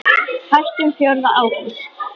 Hættum fjórða ágúst.